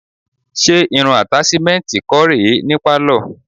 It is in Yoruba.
Ṣé irun àtàṣímẹ́ǹtì kọ́ rè é ní pálọ̀?